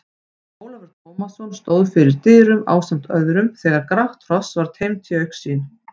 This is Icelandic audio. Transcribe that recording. Ólafur Tómasson stóð fyrir dyrum ásamt öðrum þegar grátt hross var teymt í augsýn.